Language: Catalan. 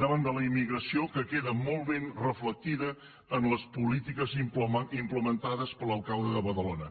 davant de la immigració que queda molt ben reflectida en les polítiques implemen·tades per l’alcalde de badalona